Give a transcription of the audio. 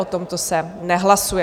O tomto se nehlasuje.